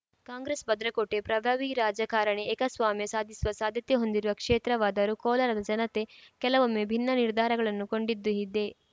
ಕಾಂಗ್ರೆಸ್‌ ಭದ್ರಕೋಟೆ ಪ್ರಗಾವಿ ರಾಜಕಾರಣಿ ಏಕಸ್ವಾಮ್ಯ ಸಾಧಿಸುವ ಸಾಧ್ಯತೆ ಹೊಂದಿರುವ ಕ್ಷೇತ್ರವಾದರೂ ಕೋಲಾರದ ಜನತೆ ಕೆಲವೊಮ್ಮೆ ಭಿನ್ನ ನಿರ್ಧಾರಗಳನ್ನು ಕೊಂಡಿದ್ದೂ ಇದೆ